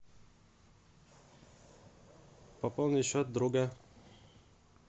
пополнить счет друга